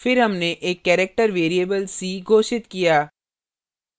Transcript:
फिर हमने एक character variable c घोषित किया